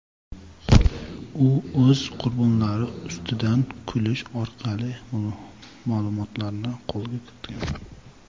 U o‘z qurbonlari ustidan kulish orqali ma’lumotlarni qo‘lga kiritgan.